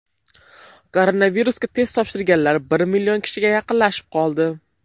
Koronavirusga test topshirganlar bir million kishiga yaqinlashib qoldi .